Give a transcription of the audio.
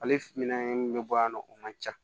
Ale finna min bɛ bɔ yan nɔ o man ca